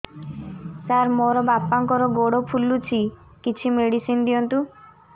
ସାର ମୋର ବାପାଙ୍କର ଗୋଡ ଫୁଲୁଛି କିଛି ମେଡିସିନ ଦିଅନ୍ତୁ